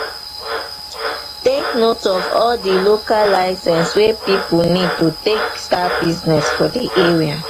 take note of all di local license wey person need to take start business for di area